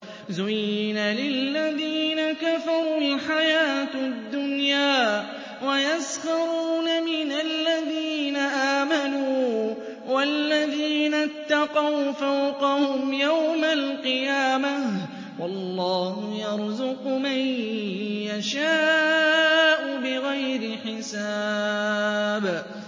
زُيِّنَ لِلَّذِينَ كَفَرُوا الْحَيَاةُ الدُّنْيَا وَيَسْخَرُونَ مِنَ الَّذِينَ آمَنُوا ۘ وَالَّذِينَ اتَّقَوْا فَوْقَهُمْ يَوْمَ الْقِيَامَةِ ۗ وَاللَّهُ يَرْزُقُ مَن يَشَاءُ بِغَيْرِ حِسَابٍ